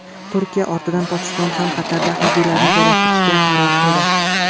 Turkiya ortidan Pokiston ham Qatarda harbiylarini joylashtirishga qaror qildi.